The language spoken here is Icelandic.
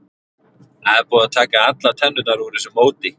Það er búið að taka allar tennurnar úr þessu móti.